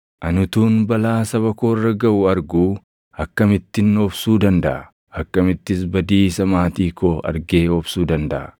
Ani utuun balaa saba koo irra gaʼu arguu akkamittin obsuu dandaʼa? Akkamittis badiisa maatii koo argee obsuu dandaʼa?”